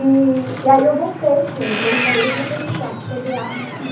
E e aí eu voltei, ele entrou no banheiro, eu voltei para o quarto, peguei a arma e subi.